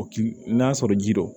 O ki n'a sɔrɔ ji don